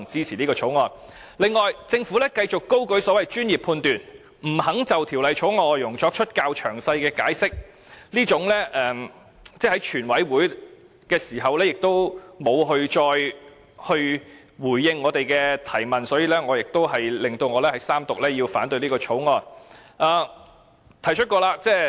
此外，政府繼續高舉所謂專業判斷，不肯就《條例草案》的內容作較詳細的解釋，而在全委會審議階段時亦沒有再回應我們的提問，在在都令我要反對三讀這項《條例草案》。